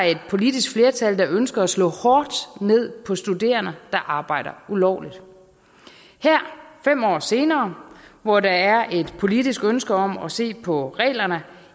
et politisk flertal der ønskede at slå hårdt ned på studerende der arbejdede ulovligt her fem år senere hvor der er et politisk ønske om at se på reglerne